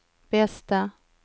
bästa